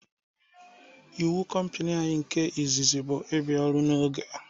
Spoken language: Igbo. Ịwu compani anyị nke izizi bụ ị bịa ọrụ n'oge